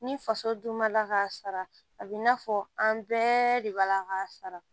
Ni faso dun ma la k'a sara a bi n'a fɔ an bɛɛ de b'a la k'a sara